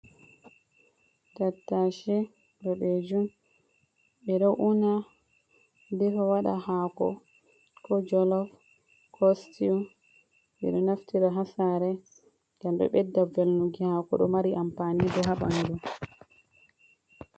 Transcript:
Tattache boɗeejum. Ɓe ɗo’una, defa waɗa haako, ko jolof, ko stiw. Ɓe ɗo naftira haa sare ngam ɗo ɓedda velnuki haako, ɗo mari amfani bo haa ɓandu.